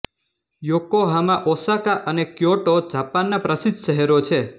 Yokohama Osaka અને Kyoto જાપાનના પ્રસિદ્ધ શહેરો છે